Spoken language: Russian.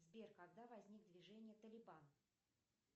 сбер когда возникло движение талибан